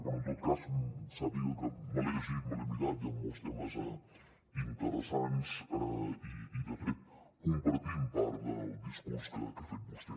però en tot cas sàpiga que me l’he llegit me l’he mirat hi han molts temes interessants i de fet compartim part del discurs que ha fet vostè